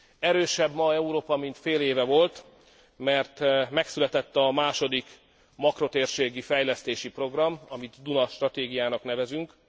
Erősebb ma Európa, mint fél éve volt, mert megszületett a második makrotérségi fejlesztési program, amit Duna stratégiának nevezünk.